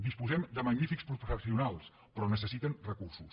disposem de magnífics professionals però necessiten recursos